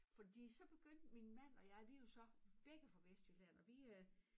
Fordi så begyndte min manD og jeg vi jo så begge fra Vestjylland og vi øh